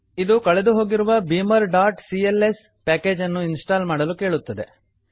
ಇದು ಕಳೆದು ಹೋಗಿರುವ beamerಸಿಎಲ್ಎಸ್ beamer dot C L S ಪ್ಯಾಕೇಜನ್ನು ಇನ್ಸ್ಟಾಲ್ ಮಾಡಲು ಕೇಳುತ್ತದೆ